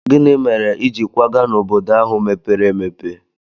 Gịnị mere i ji kwaga n'obodo ahụ mepere emepe?